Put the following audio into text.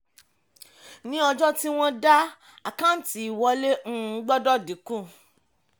ní ọjọ́ tí wọ́n daá àkáǹtí ìwọlé um gbọ́dọ̀ dínkù.